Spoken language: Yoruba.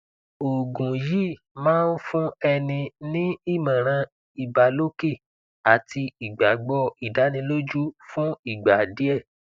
oògùn yìí máa ń fún ẹni ní ìmọràn ìbàlòkè àti igbagbọ ìdánilójú fún ìgbà díẹ